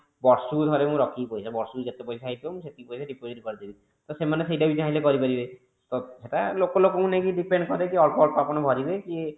ବର୍ଷ କୁ ଥରେ ମୁଁ ରଖିବି ପଇସା ବର୍ଷ କୁ ଯେତେ ପଇସା ହେଇଥିବ ମୁଁ ସେତେ ପଇସା deposit କରିଦେବି ତ ସେମାନେ ସେଟା ବି ଚାହିଁଲେ ବି କରିପାରିବ ତ ସେଟା ଲୋକ ଲୋକଙ୍କୁ ନେଇକି depend କରେ କି ଅଳ୍ପ ଅଳ୍ପ ଆପଣ ଭରିବେ କି